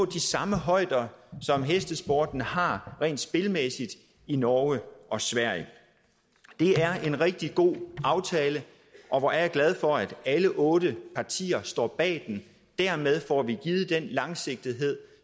de samme højder som hestesporten har rent spilmæssigt i norge og sverige det er en rigtig god aftale og hvor er jeg glad for at alle otte partier står bag den dermed får vi givet den langsigtethed